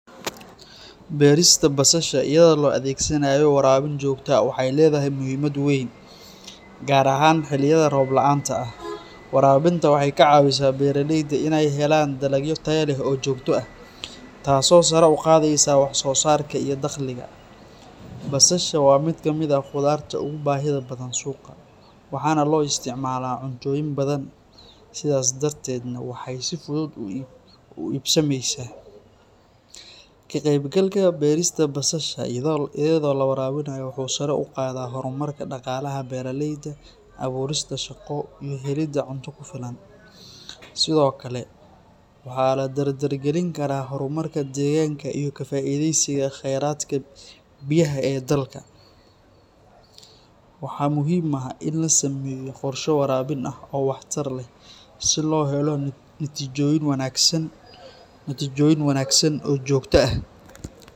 Beerista basasha iyadoo la adeegsanaayo waraabin joogto ah waxay leedahay muhiimad weyn, gaar ahaan xilliyada roob la’aanta ah. Waraabinta waxay ka caawisaa beeraleyda in ay helaan dalag tayo leh oo joogto ah, taas oo sare u qaadaysa wax-soosaarka iyo dakhliga. Basasha waa mid ka mid ah khudaarta ugu baahida badan suuqa, waxaana loo isticmaalaa cuntooyin badan, sidaas darteedna waxay si fudud u iibsamaysaa. Ka-qaybgalka beerista basasha iyadoo la waraabinayo wuxuu sare u qaadaa horumarka dhaqaalaha beeraleyda, abuurista shaqo, iyo helidda cunto ku filan. Sidoo kale, waxaa la dardargelin karaa horumarka deegaanka iyo ka faa’iideysiga kheyraadka biyaha ee dalka. Waxaa muhiim ah in la sameeyo qorshe waraabin ah oo waxtar leh si loo helo natiijooyin wanaagsan oo joogto ah.